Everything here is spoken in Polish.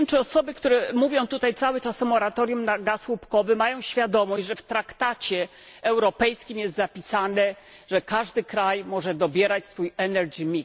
Ja nie wiem, czy osoby, które mówią tutaj cały czas o moratorium na gaz łupkowy, mają świadomość, że w traktacie europejskim jest zapisane, że każdy kraj może dobierać swój koszyk energetyczny.